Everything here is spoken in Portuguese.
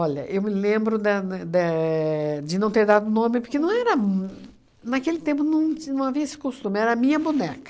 eu me lembro da né dé de não ter dado nome, porque não era uhn naquele não tempo não ti não havia esse costume, era a minha boneca.